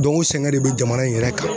Dɔnku u sɛgɛn de be jamana in yɛrɛ kan